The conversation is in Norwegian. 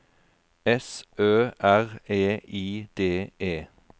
S Ø R E I D E